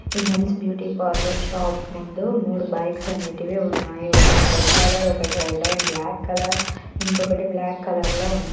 '' ఈ men's beauty parlour shop ముందు మూడు బైక్స్ అనేటివి ఉన్నాయి. ఒకటి రెడ్ కలర్ ఒకటి రెడ్ అండ్ బ్లాక్ కలర్ ఇంకొకటి బ్లాక్ కలర్ లో ఉన్నాయి. ''